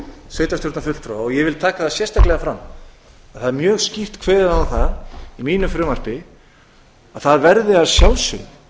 sveitarstjórnarfulltrúa ég vil taka það sérstaklega fram að það er mjög skýrt kveðið á um það í mínu frumvarpi að það verði að sjálfsögðu